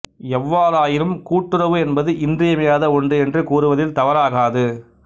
எவ்வாறாயினும் கூட்டுறவு என்பது இன்றியமையாத ஒன்று என்று கூறுவதில் தவறாகாது